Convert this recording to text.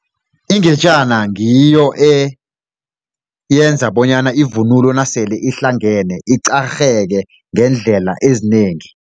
Ingejana ngiyo eyenza bonyana ivunulo nasele ihlangene iqarheke ngeendlela ezinengi.